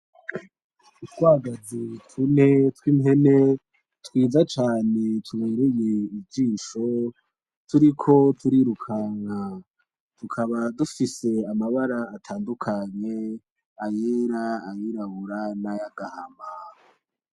Utwagazi tw'impene twiza cane tubereye ijisho turiko turirunkanga .Tukaba dufise amabara atandukanye ,ayera, ayirabura nay'agahama.